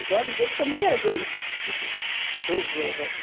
Os olhos dele também eram dois, tipo, dois ovos assim.